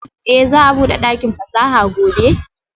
Eh za'a bude dakin fasaha gobe?